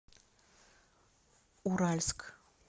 уральск